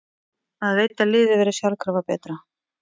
Maður veit að liðið verður sjálfkrafa betra.